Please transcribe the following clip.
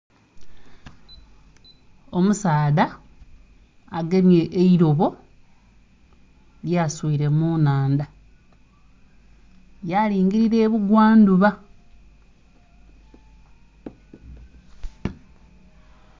Omusaadha agemye eilobo lyaswile mu nnhandha, yalingilila ebugwa ndhuba.